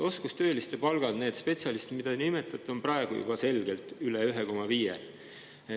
Oskustööliste palgad, nende spetsialistide, keda te nimetate, on praegu juba selgelt üle 1,5.